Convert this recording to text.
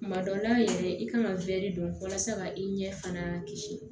Kuma dɔ la yɛrɛ i kan ka don walasa ka i ɲɛ fana kisi